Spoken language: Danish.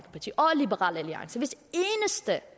liberal alliance hvis at